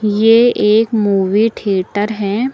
ये एक movie theatre हैं।